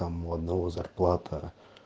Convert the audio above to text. там у одного зарплата